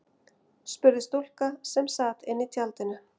spurði stúlka sem sat inní tjaldinu.